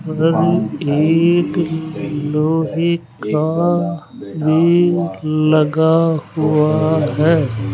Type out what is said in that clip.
एक लोहे का ग्रिल लगा हुआ है।